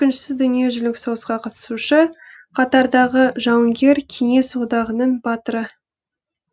екінші дүниежүзілік соғысқа қатысушы қатардағы жауынгер кеңес одағының батыры